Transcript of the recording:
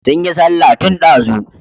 Sun yi sallah tun ɗazu.